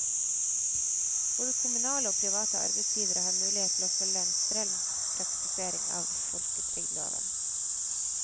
Både kommunale og private arbeidsgivere har mulighet til å følge en streng praktisering av folketrygdloven.